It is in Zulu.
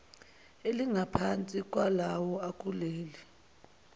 elingaphansi kwalawo akuleli